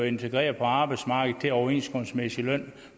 integration på arbejdsmarkedet en overenskomstmæssig løn